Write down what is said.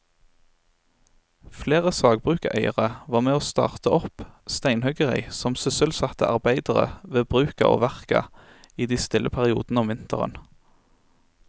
Flere sagbrukseiere var med å starte opp steinhuggeri som sysselsatte arbeidere ved bruka og verka i de stille periodene om vinteren.